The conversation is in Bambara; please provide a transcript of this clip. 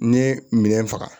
Ne ye minɛn faga